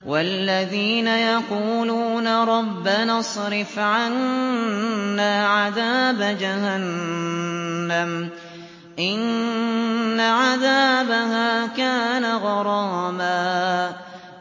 وَالَّذِينَ يَقُولُونَ رَبَّنَا اصْرِفْ عَنَّا عَذَابَ جَهَنَّمَ ۖ إِنَّ عَذَابَهَا كَانَ غَرَامًا